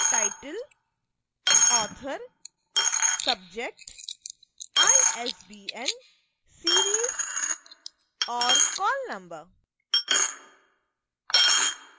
title author subject isbn series और call number